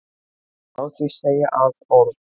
Má því segja að orð